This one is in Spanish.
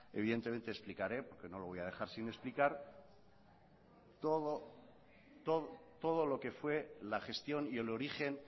evidentemente explicaré porque no lo voy a dejar sin explicar todo lo que fue la gestión y el origen